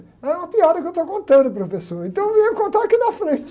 É uma piada que eu estou contando, professor, então venha contar aqui na frente.